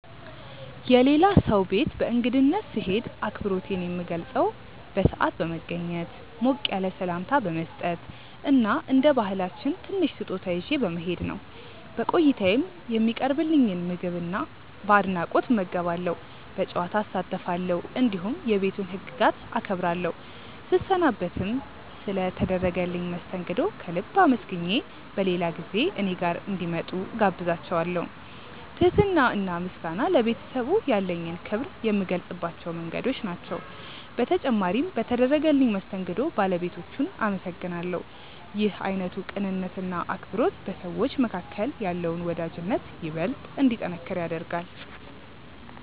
የሌላ ሰው ቤት በእንግድነት ስሄድ አክብሮቴን የምገልጸው በሰዓት በመገኘት፣ ሞቅ ያለ ሰላምታ በመስጠት እና እንደ ባህላችን ትንሽ ስጦታ ይዤ በመሄድ ነው። በቆይታዬም የሚቀርብልኝን ምግብ በአድናቆት እመገባለሁ፣ በጨዋታ እሳተፋለሁ፣ እንዲሁም የቤቱን ህግጋት አከብራለሁ። ስሰናበትም ስለ ተደረገልኝ መስተንግዶ ከልብ አመስግኜ በሌላ ጊዜ እኔ ጋር እንዲመጡ እጋብዛቸዋለው። ትህትና እና ምስጋና ለቤተሰቡ ያለኝን ክብር የምገልጽባቸው መንገዶች ናቸው። በተጨማሪም በተደረገልኝ መስተንግዶ ባለቤቶቹን አመሰግናለሁ። ይህ አይነቱ ቅንነት እና አክብሮት በሰዎች መካከል ያለውን ወዳጅነት ይበልጥ እንዲጠነክር ያደርጋል።